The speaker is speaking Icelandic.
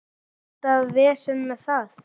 Alltaf vesen með það.